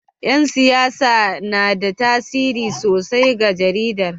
Yan siyasa suna da tasiri sosai ga jaridar